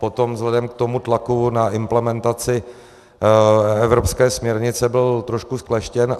Potom vzhledem k tomu tlaku na implementaci evropské směrnice byl trošku zkleštěn.